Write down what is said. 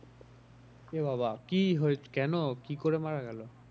এ বাবা কি কেন কি করে মারা গেলো?